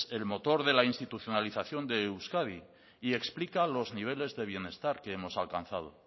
el motor de la institucionalización de euskadi y explica los niveles de bienestar que hemos alcanzado